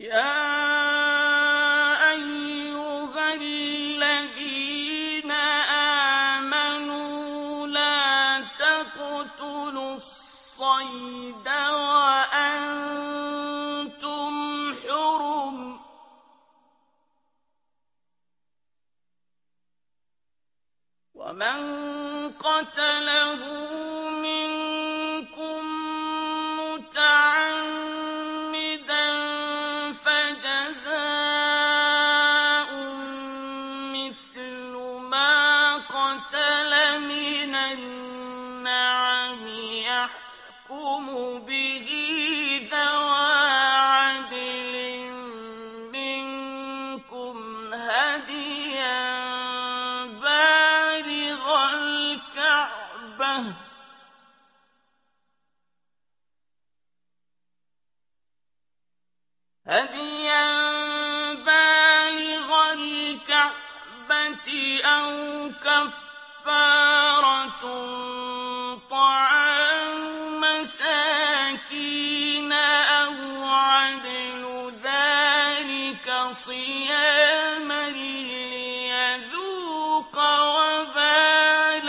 يَا أَيُّهَا الَّذِينَ آمَنُوا لَا تَقْتُلُوا الصَّيْدَ وَأَنتُمْ حُرُمٌ ۚ وَمَن قَتَلَهُ مِنكُم مُّتَعَمِّدًا فَجَزَاءٌ مِّثْلُ مَا قَتَلَ مِنَ النَّعَمِ يَحْكُمُ بِهِ ذَوَا عَدْلٍ مِّنكُمْ هَدْيًا بَالِغَ الْكَعْبَةِ أَوْ كَفَّارَةٌ طَعَامُ مَسَاكِينَ أَوْ عَدْلُ ذَٰلِكَ صِيَامًا لِّيَذُوقَ وَبَالَ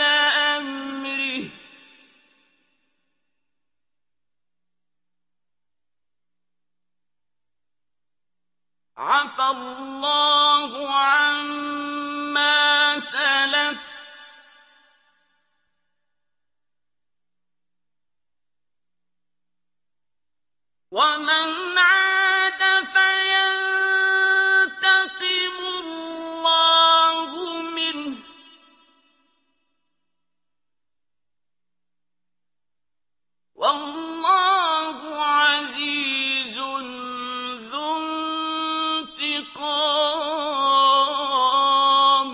أَمْرِهِ ۗ عَفَا اللَّهُ عَمَّا سَلَفَ ۚ وَمَنْ عَادَ فَيَنتَقِمُ اللَّهُ مِنْهُ ۗ وَاللَّهُ عَزِيزٌ ذُو انتِقَامٍ